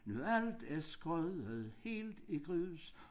Nu alt er skudt helt i grus